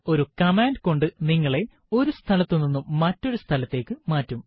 ഒരു കമാണ്ട് കൊണ്ട് നിങ്ങളെ ഒരു സ്ഥലത്തുനിന്നും മറ്റൊരു സ്ഥലത്തേക്ക് മാറ്റും